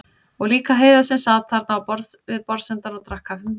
Og líka Heiða sem sat þarna við borðsendann og drakk kaffi með Kristínu og mömmu.